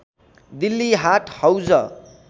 Delhi Haat Hauz